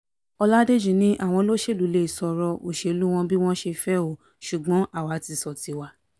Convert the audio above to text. ọládèjì ni àwọn olóṣèlú lè sọ ọ̀rọ̀ òṣèlú wọn bí wọ́n ṣe fẹ́ o ṣùgbọ́n àwa ti sọ tiwa